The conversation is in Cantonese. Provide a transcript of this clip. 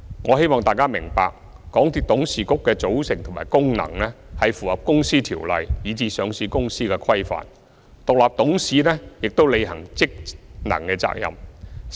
我希望大家明白，港鐵公司董事局的組成和功能符合《公司條例》以至上市公司的規範，獨立董事亦有履行職能的責任。